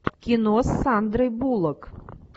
кино с сандрой буллок